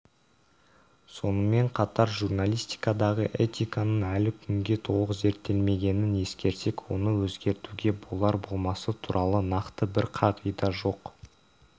сонымен қатар журналистикадағы этиканың әлі күнге толық зерттелмегенін ескерсек оны өзгертуге болар-болмасы туралы нақты бір қағида жоқ